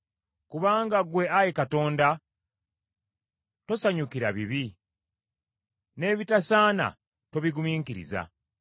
Kubanga ggwe Ayi Katonda, tosanyukira bibi: n’ebitasaana tobigumiikiriza.